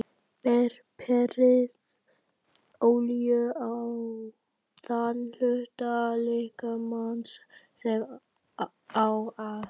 Berið olíu á þann hluta líkamans sem á að nudda.